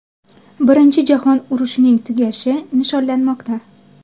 Birinchi jahon urushining tugashi nishonlanmoqda.